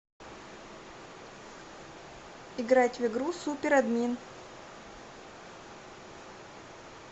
играть в игру суперадмин